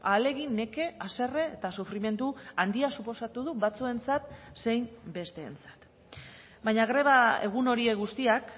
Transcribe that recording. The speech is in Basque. ahalegin neke haserre eta sufrimendu handia suposatu du batzuentzat zein besteentzat baina greba egun horiek guztiak